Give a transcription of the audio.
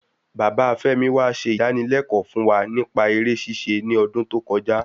Bàbá femi wa se idanilẹkọ fún wa nipa eré ṣíṣe ní odún tó kọjá